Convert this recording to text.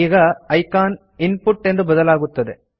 ಈಗ icon input ಎಂದು ಬದಲಾಗುತ್ತದೆ